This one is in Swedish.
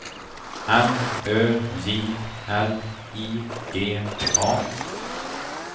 M Ö J L I G A